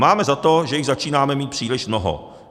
Mám za to, že jich začínáme mít příliš mnoho.